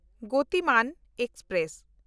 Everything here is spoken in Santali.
ᱜᱚᱛᱤᱢᱟᱱ ᱮᱠᱥᱯᱨᱮᱥ